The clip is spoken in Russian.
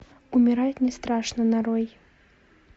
умирать не страшно нарой